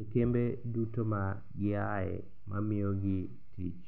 e kembe duto magiae mamiyogi tich.